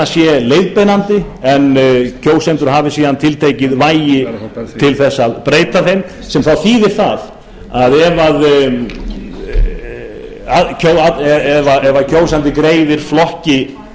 sé leiðbeinandi en kjósendur hafi síðan tiltekið vægi til að breyta þeim sem þá þýðir það að ef kjósandi greiðir flokki